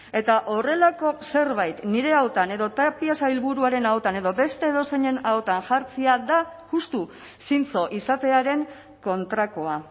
eta horrelako zerbait nire ahotan edo tapia sailburuaren ahotan edo beste edozeinen ahotan jartzea da justu zintzo izatearen kontrakoa